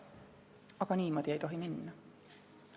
Aga niimoodi ei tohi minna.